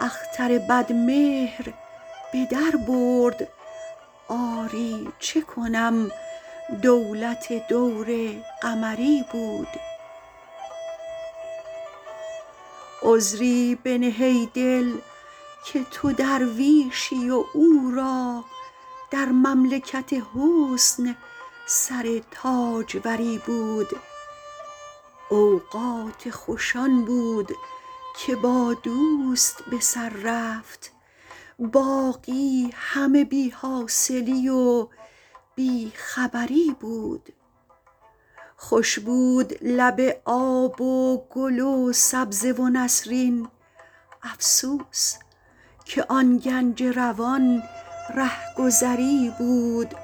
اختر بدمهر به در برد آری چه کنم دولت دور قمری بود عذری بنه ای دل که تو درویشی و او را در مملکت حسن سر تاجوری بود اوقات خوش آن بود که با دوست به سر رفت باقی همه بی حاصلی و بی خبری بود خوش بود لب آب و گل و سبزه و نسرین افسوس که آن گنج روان رهگذری بود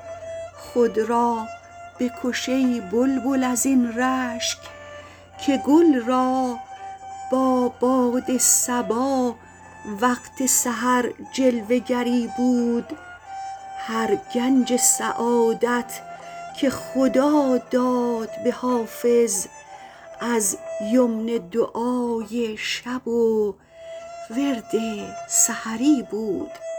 خود را بکش ای بلبل از این رشک که گل را با باد صبا وقت سحر جلوه گری بود هر گنج سعادت که خدا داد به حافظ از یمن دعای شب و ورد سحری بود